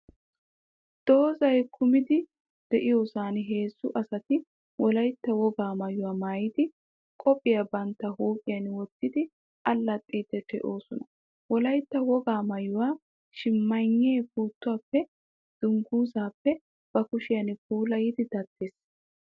Doozzay kumidi de'iyoosan heezzu asati Wolaytta wogaa maayuwaa maayidi, qophiyaa bantta huuphiyan wottidi allaxxiiddi de'oosona. Wolaytta wogaa maayuwaa shimaynnee, puuttuwaappe, dungguzzaappe ba kushiyan puulayidi daddees.